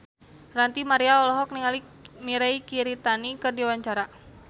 Ranty Maria olohok ningali Mirei Kiritani keur diwawancara